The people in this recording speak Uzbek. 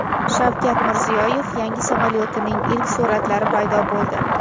Shavkat Mirziyoyev yangi samolyotining ilk suratlari paydo bo‘ldi .